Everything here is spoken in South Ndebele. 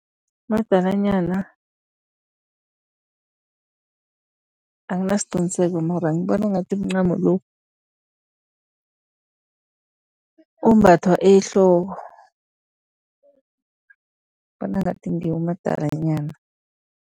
Umadalanyana angasiQiniseko mara ngibona ngathi mncamo lo ombathwa ehloko bona ngathi ngiwo umadalanyana.